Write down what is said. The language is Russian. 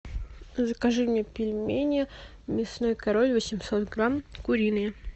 закажи мне пельмени мясной король восемьсот грамм куриные